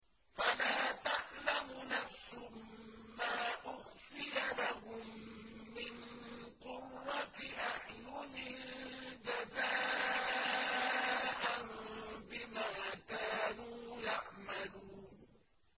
فَلَا تَعْلَمُ نَفْسٌ مَّا أُخْفِيَ لَهُم مِّن قُرَّةِ أَعْيُنٍ جَزَاءً بِمَا كَانُوا يَعْمَلُونَ